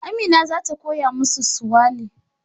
Amina za ta koya musu Suwali